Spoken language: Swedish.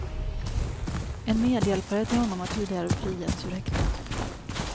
En medhjälpare till honom har tidigare frigetts ur häktet.